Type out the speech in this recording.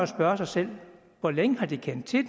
spørge sig selv hvor længe har de kendt til